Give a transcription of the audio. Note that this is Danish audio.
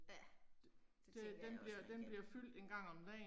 Ja. Det tænker jeg også man kan